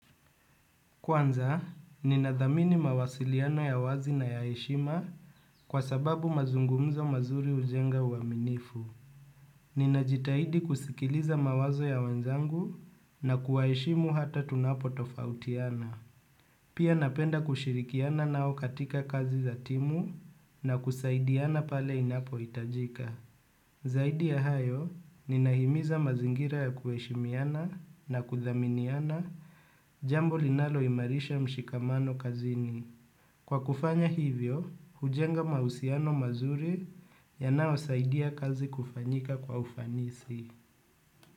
Kwanza, ninadhamini mawasiliano ya wazi na yaeshima kwa sababu mazungumzo mazuri ujenga uaminifu. Ninajitahidi kusikiliza mawazo ya wanzangu na kuwaeshimu hata tunapo tofautiana. Pia napenda kushirikiana nao katika kazi za timu na kusaidiana pale inapo itajika. Zaidi ya hayo ni nahimiza mazingira ya kueshimiana na kudhaminiana jambo linalo imarisha mshikamano kazini. Kwa kufanya hivyo, hujenga mausiano mazuri yanao saidiya kazi kufanyika kwa ufanisi.